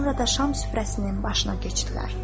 Sonra da şam süfrəsinin başına keçdilər.